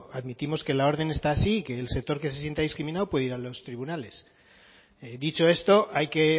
admitimos que la orden está así y que el sector que se sienta discriminado puede ir a los tribunales dicho esto hay que